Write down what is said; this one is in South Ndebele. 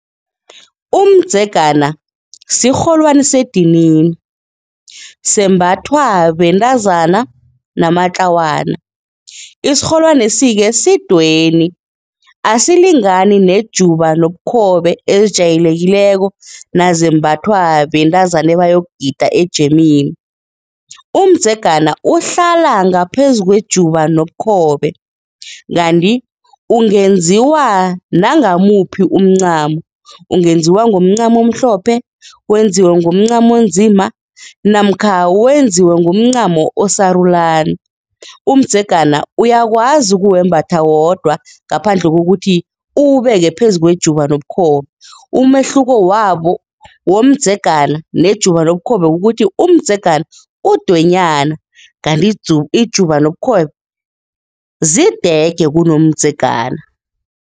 Umdzegana sirholwani sedinini, sembathwa bentazana namatlawana, isirholwanesi-ke sidweni, asilingani nejuba nobukhobe ezijayelekileko nazembathwa bentazana ebayokugida ejemini. Umdzegana uhlala ngaphezukwejuba nobukhobe, kanti ungenziwa nangamuphi umncamo, ungenziwa ngomncamo omhlophe, wenziwe ngomncamo onzima namkha wenziwe ngomncamo osarulani, umdzegana uyakwazi ukuwembatha wodwa ngaphandle kokuthi uwubeke phezu kwejuba nobukhobe, umehluko wabo womdzegana nejuba nobukhobe kukuthi umdzegana udwenyana kanti ijuba nobukhobe zidege kunomdzegana.